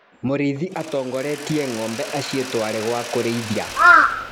Mũrĩithi atongoretie ngombe acitware gwa kũrĩithia.